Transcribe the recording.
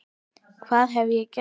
Hvað hef ég gert?